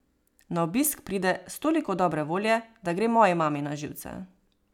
Na obisk pride s toliko dobre volje, da gre moji mami na živce.